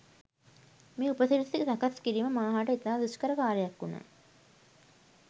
මේ උපසිරැසි සකස් කිරීම මා හට ඉතා දුෂ්කර කාර්යයක් වුනා